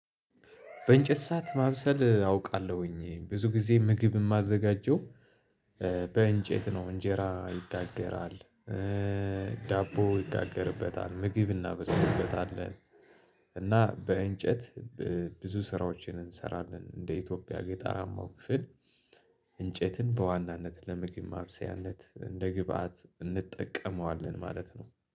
በእንጨት ሰዓት ማብሰል አውቃለሁኝ ብዙ ጊዜ ምግብ እማዘጋጀው። በእንጨት ነው እንጀራ ይጋገራል። ዳቦ ይጋገርበታል ምግብ እናበስልበታለን። እና በእንጨት ብዙ ስራዎችን እንሰራለን እንደ ኢትዮጵያ ጌጠራማው ክፍል። እንጨትን በዋናነት ለምግብ ማብሰያለት እንደ ግብአት እንጠቀመዋለን ማለት ነው